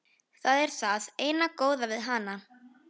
Það er það eina góða við hana.